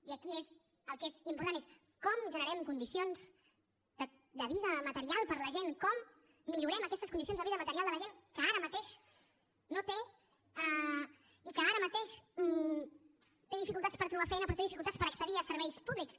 i aquí el que és important és com generem condicions de vida material per a la gent com millorem aquestes condicions de vida material de la gent que ara mateix no té i que ara mateix té dificultats per trobar feina però té dificultats per accedir a serveis públics